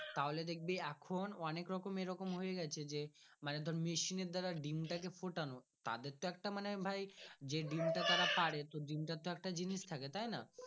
তাহলে দেখবি এখন অনেক রকম এরকম হয়ে গাছে যে মানে মেশিনের দাঁড়ায় ডিম্ টাকে ফুটানো তাদের তো একটা মানে ভাই যে ডিম্টা তারা পারে তো ডিম্ তা তো একটা জিনিস থাকে তাই না।